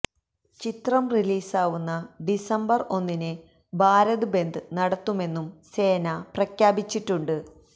ചിത്രം റിലീസാവുന്ന ഡിസംബര് ഒന്നിന് ഭാരത് ബന്ദ് നടത്തുമെന്നും സേന പ്രഖ്യാപിച്ചിട്ടുണ്ട്